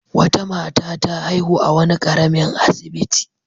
Wata mata ta haihu a wani ƙaramin asibiti.